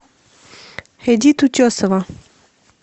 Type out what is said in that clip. эдит утесова